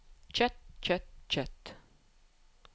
kjøtt kjøtt kjøtt